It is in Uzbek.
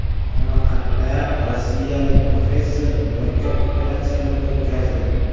Samarqandda rossiyalik professor murakkab operatsiyalar o‘tkazdi.